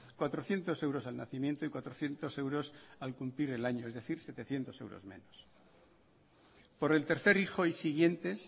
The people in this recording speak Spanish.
cuatrocientos euros al nacimiento y cuatrocientos euros al cumplir el año es decir setecientos euros menos por el tercer hijo y siguientes